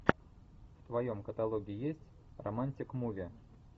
в твоем каталоге есть романтик муви